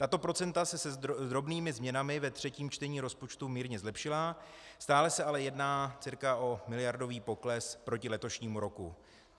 Tato procenta se s drobnými změnami ve třetím čtení rozpočtu mírně zlepšila, stále se ale jedná cca o miliardový pokles proti letošnímu roku.